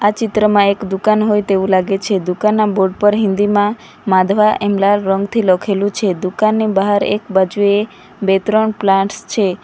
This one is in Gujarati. આ ચિત્રમાં એક દુકાન હોય તેવું લાગે છે દુકાનના બોર્ડ પર હિન્દીમાં માધવા એમ લાલ રંગથી લખેલું છે દુકાનની બહાર એક બાજુએ બે ત્રણ પ્લાન્સ છે.